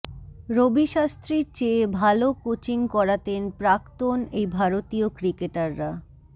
রবি শাস্ত্রীর চেয়ে ভাল কোচিং করাতেন প্রাক্তন এই ভারতীয় ক্রিকেটাররা